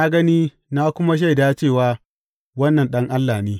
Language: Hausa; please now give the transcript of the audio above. Na gani na kuma shaida cewa wannan Ɗan Allah ne.